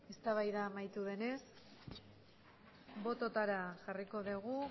eztabaida amaitu denez bototara jarriko dugu